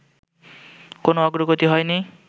কোনো অগ্রগতি হয়নি